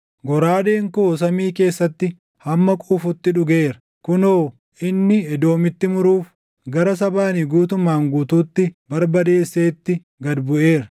Goraadeen koo samii keessatti hamma quufutti dhugeera; kunoo inni Edoomitti muruuf, gara saba ani guutumaan guutuutti barbadeesseetti gad buʼeera.